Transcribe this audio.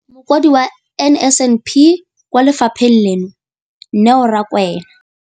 Mokaedi wa NSNP kwa lefapheng leno, Neo Rakwena,